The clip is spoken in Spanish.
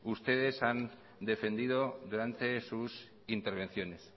ustedes han defendido durante sus intervenciones